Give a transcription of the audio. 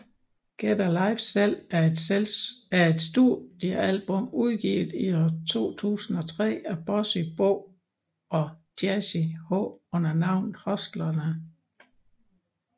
Get a Life Selv er et studiealbum udgivet i 2003 af Bossy Bo og Jazzy H under navnet Hustlerne